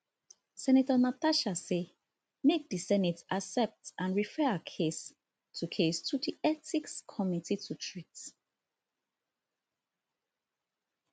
senator natasha say make di senate accept and refer her case to case to di ethics committee to treat